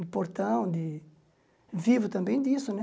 Um portão de... Vivo também disso, né?